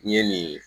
N ye nin